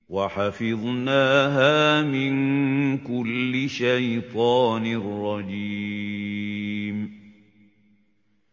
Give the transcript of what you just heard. وَحَفِظْنَاهَا مِن كُلِّ شَيْطَانٍ رَّجِيمٍ